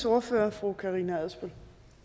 ordfører fru karina adsbøl